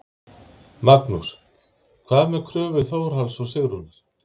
Magnús: Hvað með kröfu Þórhalls og Sigrúnar?